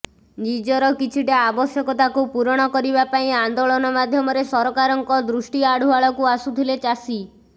ନିଜର କିଛିଟା ଆବଶ୍ୟକତାକୁ ପୁରଣ କରିବା ପାଇଁ ଆନ୍ଦୋଳନ ମାଧ୍ୟମରେ ସରକାରଙ୍କ ଦୃଷ୍ଟି ଆଢୁଆଳକୁ ଆସୁଥିଲେ ଚାଷୀ